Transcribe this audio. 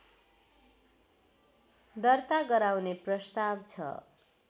दर्ता गराउने प्रस्ताव छ